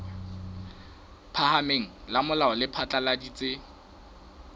phahameng la molao le phatlaladitse